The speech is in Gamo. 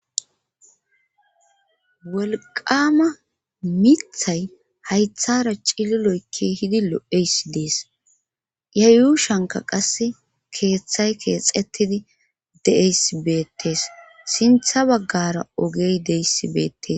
wolqama mithay haythara cililoykki hidi lo7eysi dees ya yuushanka qasse keeththay keexettidi de7eys beettees sintha baggara ogey deyssi beettes